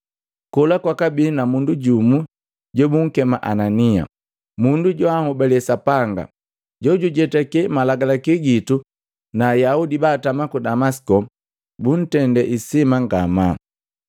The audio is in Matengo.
“Kola kwabii mundu jumu jobunkema Anania, mundu joanhobale Sapanga, jojujetake malagalaki gitu na Ayaudi baatama ku Damasiko buntende isima ngamaa.